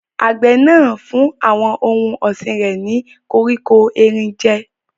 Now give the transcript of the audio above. Àgbẹ̀ náà ń fún àwọn ohun ọ̀sìn rẹ̀ ní koríko erin jẹ́.